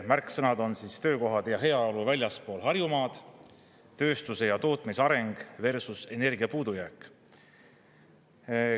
Märksõnad on töökohad ja heaolu väljaspool Harjumaad, tööstuse ja tootmise areng versus energia puudujääk.